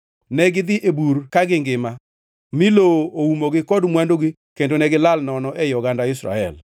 Negidhi e bur kagingima mi lowo uomogi kod mwandugi kendo negilal nono ei oganda Israel.